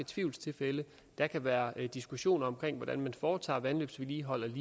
tvivlstilfælde der kan være diskussioner om hvordan man foretager vandløbsvedligeholdelse